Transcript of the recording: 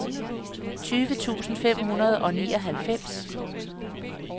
tyve tusind fem hundrede og nioghalvfems